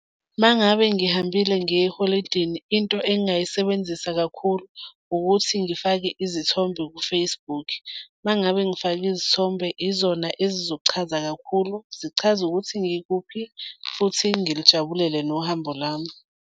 Uma ngabe ngihambile ngiye eholidini, into engingayisebenzisa kakhulu ukuthi ngifake izithombe ku-Facebook. Uma ngabe ngifake izithombe izona ezizochaza kakhulu zichaze ukuthi ngikuphi, futhi ngilijabulele nohambo lwami.